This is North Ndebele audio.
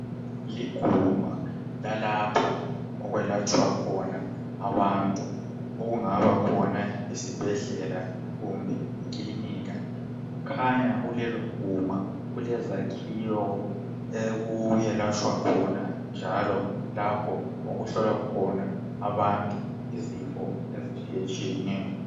Liguma lalapha okwelatshwa khona abantu okungaba khona isibhedlela kumbe ikilinika. Kukhanya kulelo guma kulezakhiwo okulatshwa njalo lapho okuhlolwa khona abantu izifo ezitshiyatshiyeneyo.